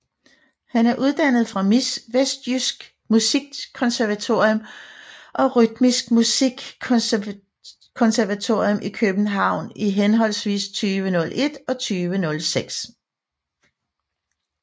Han er uddannet fra vestjysk Musikkonservatorium og Rytmisk Musikkonservatorium i København i henholdsvis 2001 og 2006